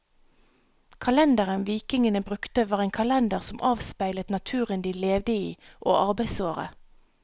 Kalenderen vikingene brukte var en kalender som avspeilet naturen de levde i og arbeidsåret.